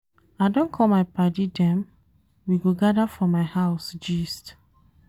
I don call my paddy dem, we go gada for my house gist.